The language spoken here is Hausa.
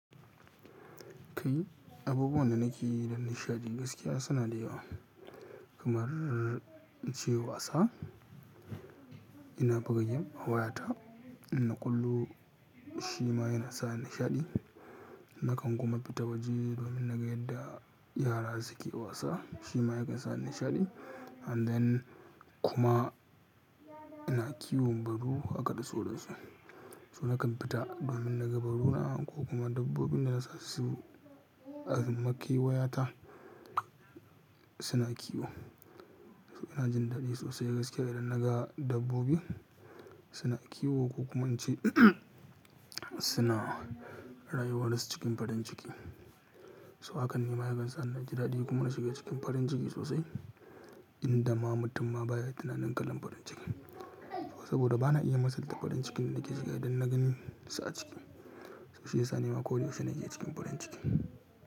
Kai, abubuwan da nake yi don nishaɗi gaskiya suna da yawa. Kamar ce wasa ina buga game a wayata, ina kwallo shi ma yana sa ni nishaɗi. Nakan kuma fita waje domin naga yadda yara suke wasa, shi ma ya kan sa nishaɗi. And then kuma ina kiwon baru haka da sauransu. So nakan fita domin naga baruna ko kuma dabbobin dana sa su a makewayata suna kiwo. So ina jin daɗi sosai gaskiya idan naga dabbobi suna kiwo ko kuma in ce suna rayuwar su cikin farin ciki. So hakan ne ma ya kan sa ni naji daɗi kuma na shiga cikin farin ciki sosai, inda ma mutum ma baya tunanin kalan farin ciki. Saboda ba na iya masalta farin cikin da nake shiga idan na gan su a ciki. Shiyasa ni ma ko da yaushe nake cikin farin ciki.